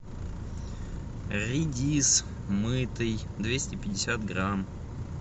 редис мытый двести пятьдесят грамм